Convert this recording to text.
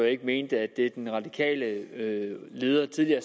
ikke mente at det den radikale leder tidligere